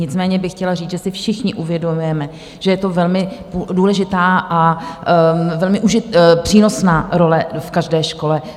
Nicméně bych chtěla říct, že si všichni uvědomujeme, že je to velmi důležitá a velmi přínosná role v každé škole.